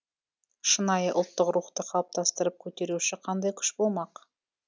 шынайы ұлттық рухты қалыптастырып көтеруші қандай күш болмақ